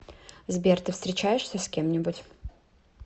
сбер ты встречаешься с кем нибудь